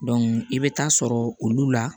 i bɛ taa sɔrɔ olu la